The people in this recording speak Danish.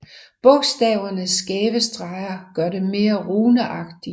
Bogstavernes skæve streger gør dem mere runeagtige